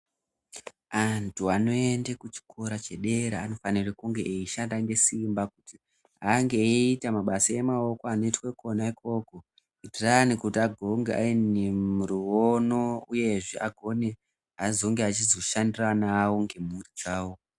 Antu anoenda kuchikora chedera anofanira kunge eishanda ngesimba kuti ange eita mabasa emaoko anoitwa kona ikoko kuitira kuti ange ane ruono uyezve agone kuzoshandira ana awo nemhuri dzawo.